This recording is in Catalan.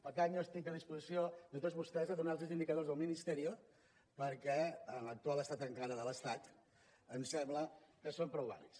per tant jo estic a disposició de tots vostès a donar los els indicadors del ministerio perquè en l’actual estat encara de l’estat ens sembla que són prou vàlids